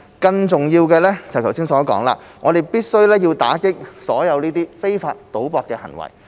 更重要的是，正如我剛才所說，我們必須打擊所有非法賭博的行為。